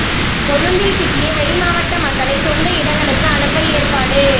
கொழும்பில் சிக்கிய வெளிமாவட்ட மக்களை சொந்த இடங்களுக்கு அனுப்ப ஏற்பாடு